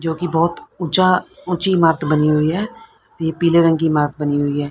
जो कि बहुत ऊंचा ऊंची इमारत बनी हुई है। ये पीले रंग की इमारत बनी हुई है।